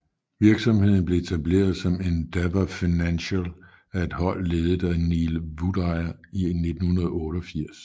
Virksomheden blev etableret som Endeavour Financial af et hold ledet af Neil Woodyer i 1988